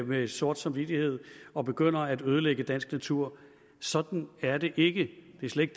med sort samvittighed og begynder at ødelægge dansk natur sådan er det ikke det er slet